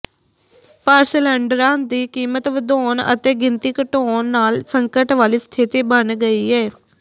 ਪਰ ਸਿਲੈਂਡਰਾਂ ਦੀ ਕੀਮਤ ਵਧਾਉਂਣ ਅਤੇ ਗਿਣਤੀ ਘਟਾਉਂਣ ਨਾਲ ਸੰਕਟ ਵਾਲੀ ਸਥਿੱਤੀ ਬਣ ਗਈ ਏ